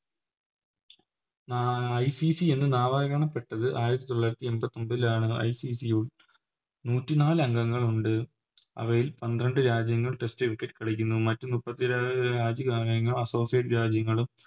നാ ICC എന്ന് നാമകരണപ്പെട്ടത് ആയിരത്തി തൊള്ളായിരത്തി എൺപത്തൊമ്പതിലാണ് ICC യും നൂറ്റിനാലംഗങ്ങളുണ്ട് അവയിൽ പന്ത്രണ്ട് രാജ്യങ്ങൾ Test cricket കളിക്കുന്നു മറ്റ് മുപ്പത്തി രാജ്യങ്ങൾ Associate രാജ്യങ്ങളും